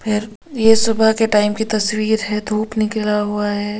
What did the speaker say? फिर ये सुबह के टाइम की तस्वीर है धूप निकला हुआ है।